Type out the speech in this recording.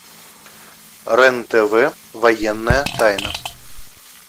рен тв военная тайна